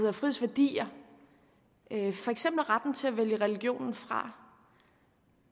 og frihedsværdier for eksempel retten til at vælge religionen fra